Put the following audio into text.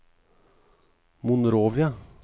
Monrovia